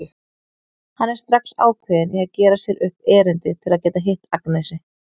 Hann er strax ákveðinn í að gera sér upp erindi til að geta hitt Agnesi.